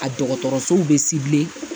A dɔgɔtɔrɔsow bɛ